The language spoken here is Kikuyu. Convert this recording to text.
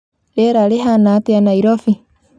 rĩera rĩhana atia Nairobi